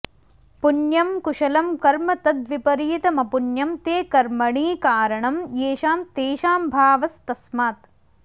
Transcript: पुण्यं कुशलं कर्म तद्विपरीतमपुण्यं ते कर्मणी कारणं येषां तेषां भावस्तस्मात्